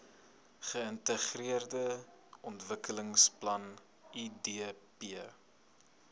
geintegreerde ontwikkelingsplan idp